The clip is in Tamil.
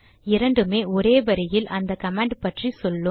இரண்டுமே ஒரே வரியில் அந்த கமாண்ட் பற்றி சொல்லும்